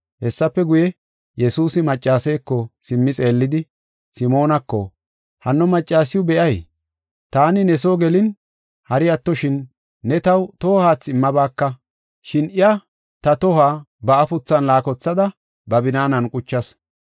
Hessafe guye, Yesuusi maccaseeko simmi xeellidi, Simoonako, “Hanno maccasiw be7ay? Taani ne soo gelin hari attishin, ne taw toho haathe immabaaka, shin iya ta tohuwa ba afuthan laakothada ba binaanan quchasu.